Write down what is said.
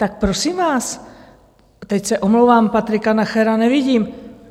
Tak prosím vás, teď se omlouvám - Patrika Nachera nevidím.